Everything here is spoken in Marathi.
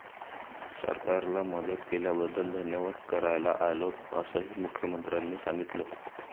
सरकारला मदत केल्याबद्दल धन्यवाद करायला आलो, असंही मुख्यमंत्र्यांनी सांगितलं.